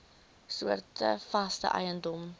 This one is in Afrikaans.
soorte vaste eiendom